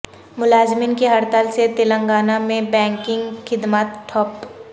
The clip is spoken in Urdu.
ملازمین کی ہڑتال سے تلنگانہ میں بینکنگ خدمات ٹھپ